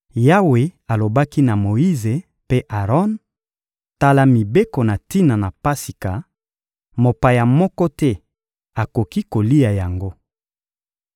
Yawe alobaki na Moyize mpe Aron: «Tala mibeko na tina na Pasika: ‹Mopaya moko te akoki kolia yango.